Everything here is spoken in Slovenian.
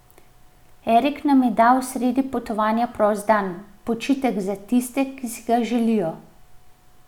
Erik nam je dal sredi potovanja prost dan, počitek za tiste, ki si ga želijo.